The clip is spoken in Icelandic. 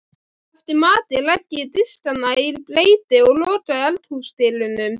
Undir þvílíkum kringumstæðum væri þörf langrar og alvarlegrar íhugunar.